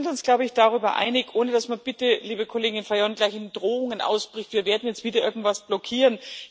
Wir sind uns, glaube ich, darüber einig, ohne dass man bitte, liebe Kollegin Fajon, gleich in Drohungen ausbricht, wir werden jetzt wieder irgendwas blockieren.